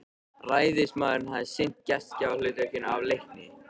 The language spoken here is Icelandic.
Ræðismaðurinn hafði sinnt gestgjafahlutverkinu af leikni.